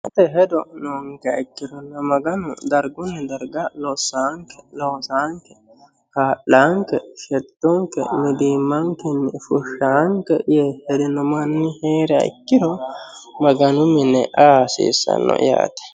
Hedolla heedhunkero Maganu losanonkella dargunni darga kaa'lanke shettonke mitimmanke fushanonke yee hede no manni heeriha ikkiro Maganu mine aa hasiisano yaate.